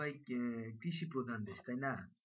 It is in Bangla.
তো ভাই কৃষি প্রধান দেশ তাইনা